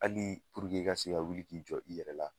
Hali i ka se ka wuli k'i jɔ i yɛrɛ la